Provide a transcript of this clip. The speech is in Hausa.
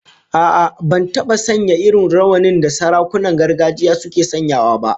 A'a, ban taba sanya irin rawanin da sarakunan gargajiya suke sanyawa ba